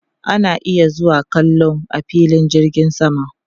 Ana iya zuwa kallo a filin jirgin sama